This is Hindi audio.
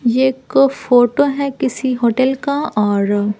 ये एक फोटो है किसी होटल का और--